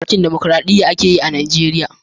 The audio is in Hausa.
Mulkin damakoraɗiya ake yi a Najeriya.